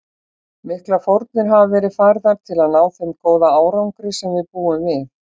Miklar fórnir hafa verið færðar til að ná þeim góða árangri sem við búum við.